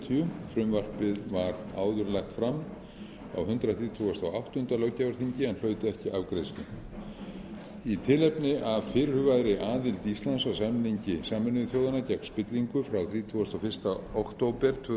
frumvarpið var áður lagt fram á hundrað þrítugasta og áttunda löggjafarþingi en hlaut ekki afgreiðslu í tilefni af fyrirhugaðri aðild íslands að samningi sameinuðu þjóðanna gegn spillingu frá þrítugasta og fyrsta október tvö